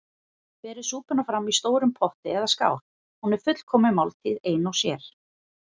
Berið súpuna fram í stórum potti eða skál- hún er fullkomin máltíð ein og sér.